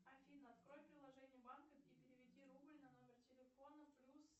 афина открой приложение банка и переведи рубль на номер телефона плюс